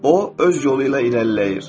O öz yolu ilə irəliləyir.